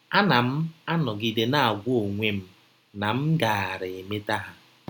A na m anọgide na - agwa onwe m na m gaara emeta ha. ”